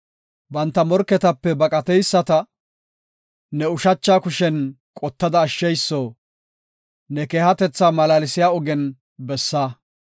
Banta morketape baqateyisata, ne ushacha kushen qottada ashsheyso, ne keehatetha malaalsiya ogen bessa.